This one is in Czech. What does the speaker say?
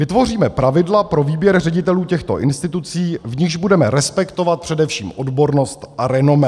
Vytvoříme pravidla pro výběr ředitelů těchto institucí, v nichž budeme respektovat především odbornost a renomé.